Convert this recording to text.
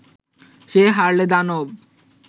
সে হারলে দানব